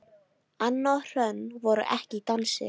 Anna og Hrönn voru ekki í dansi.